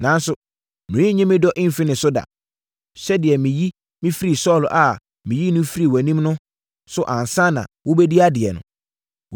Nanso, merenyi me dɔ mfiri ne so da, sɛdeɛ meyi mefirii Saulo a meyii no firii wʼanim no so ansa na wobɛdii nʼadeɛ no.